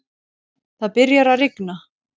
Það byrjar að rigna.